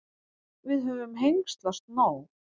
Við höfum hengslast nóg.